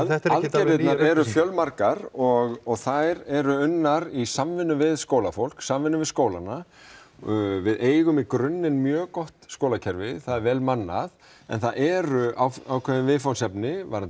aðgerðirnar eru fjölmargar og þær eru unnar í samvinnu við skólafólk í samvinnu við skólana við eigum í grunninn mjög gott skólakerfi það er vel mannað en það eru ákveðin viðfangsefni varðandi